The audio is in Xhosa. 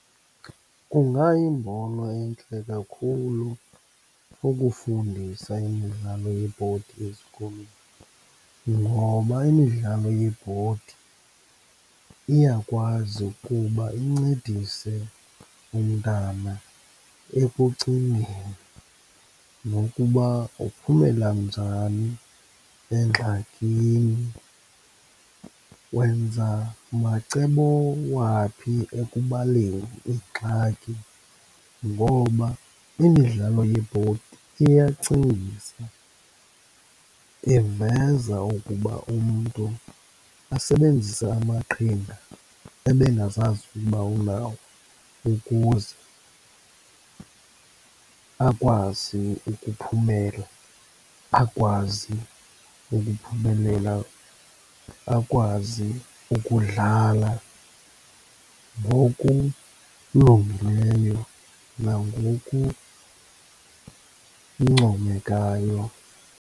Kungayimbono entle kakhulu ukufundisa imidlalo yebhodi ezikolweni, ngoba imidlalo yebhodi iyakwazi ukuba incedise umntana ekucingeni, nokuba uphumela njani engxakini, wenza macebo waphi ekubaleni ingxaki. Ngoba imidlalo yebhodi iyacingisa, iveza ukuba umntu asebenzise amaqhinga ebengazazi ukuba unawo ukuze akwazi ukuphumela, akwazi ukuphumelela, akwazi ukudlala ngokulungileyo nangokuncomekayo.